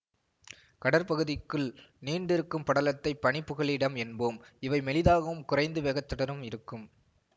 கடற்பகுதிக்குள் நீண்டுருக்கும் படலத்தை பனி புகலிடம் என்போம் இவை மெலிதாகவும் குறைந்த வேகத்துடனும் இருக்கும்